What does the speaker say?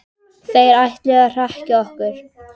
Þeir ætluðu að hrekkja okkur